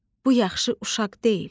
Bu yaxşı uşaq deyil.